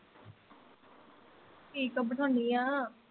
ਠੀਕ ਆ ਬਿਠਾਉਣੀ ਆ